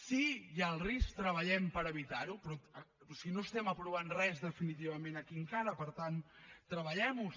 si hi ha el risc treballem per evitar lo però si no estem aprovant res definitivament aquí encara per tant treballem ho